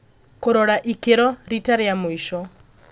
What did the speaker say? Kũrora ikĩro rita rĩa mũico.